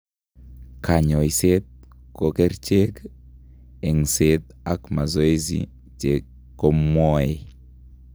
Kanyoiseet ko kercheek, eng'seet ak masoesi chekomweoe